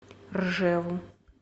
ржеву